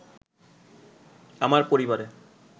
আমার পরিবারে